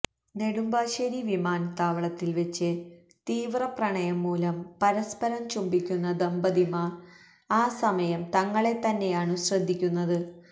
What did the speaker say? നെടുമ്പാശ്ശേരി വിമാനത്താവളത്തില് വച്ച് തീവ്രപ്രണയം മൂലം പരസ്പരം ചുംബിയ്ക്കുന്ന ദമ്പതിമാര് ആ സമയം തങ്ങളെത്തന്നെയാണു ശ്രദ്ധിയ്ക്കുന്നത്